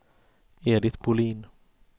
Edit Bolin